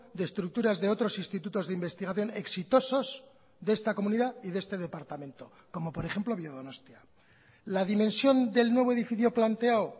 de estructuras de otros institutos de investigación exitosos de esta comunidad y de este departamento como por ejemplo biodonostia la dimensión del nuevo edificio planteado